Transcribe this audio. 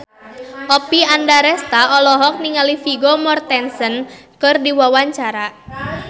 Oppie Andaresta olohok ningali Vigo Mortensen keur diwawancara